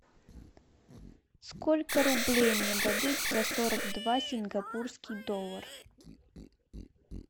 сколько рублей мне дадут за сорок два сингапурский доллар